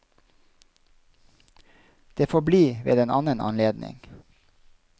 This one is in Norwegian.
Det får bli ved en annen anledning.